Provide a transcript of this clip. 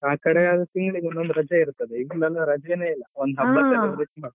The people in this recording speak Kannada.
ಆ ಕಡೆ ಆದ್ರೆ ತಿಂಗಳಿಗೆ ಒಂದೊಂದು ರಜೆ ಇರ್ತದೆ ಇಲ್ಲೆಲ್ಲಾ ರಜೆನೆ ಇಲ್ಲ ಒಂದು ಹಬ್ಬಕ್ಕೆ